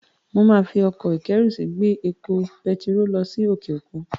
Màá fi ọkọ̀-ìkẹ́rùsí gbé epo pẹtiró lọ sí òkè òkun.